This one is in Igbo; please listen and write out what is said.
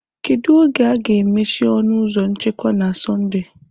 Kedu oge a ga-emechi ọnụ ụzọ nchekwa na Sọnde?